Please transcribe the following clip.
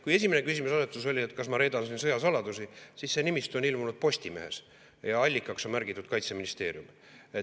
Kui esimene küsimuseasetus oli, kas ma reedan siin sõjasaladusi, siis see nimistu on ilmunud Postimehes ja allikaks on märgitud Kaitseministeerium.